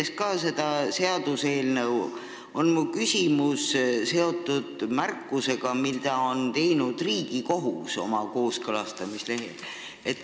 Minagi kiidan seda seaduseelnõu, aga mu küsimus on ajendatud märkusest, mille on teinud Riigikohus kooskõlastamislehel.